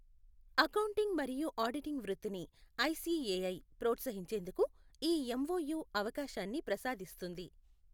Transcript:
Accounting మరియు auditing వృత్తి ని ఐసిఎఐ ప్రోత్సహించేందుకు ఈ ఎంఓయూ అవకాశాన్ని ప్రసాదిస్తుంది.